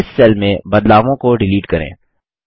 इस सेल में बदलावों को डिलीट करें